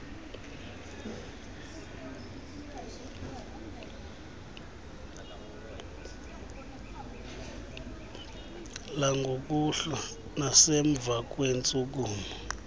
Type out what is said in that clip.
langokuhlwa nasemva kweentshukumo